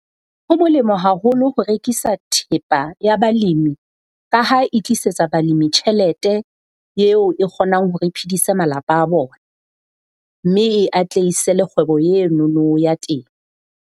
Ho molemo haholo ho rekisa thepa ya balemi ka ha e tlisetsa balemi tjhelete eo e kgonang hore e phedise malapa a bona, mme e atlehise le kgwebo enono ya teng.